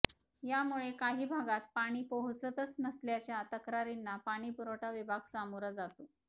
यामुळे काही भागात पाणी पोहोचतच नसल्याच्या तक्रारींना पाणीपुरवठा विभाग सामोरा जातो